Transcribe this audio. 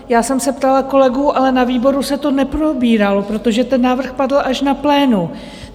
Já jsem se ptala kolegů, ale na výboru se to neprobíralo, protože ten návrh padl až na plénu.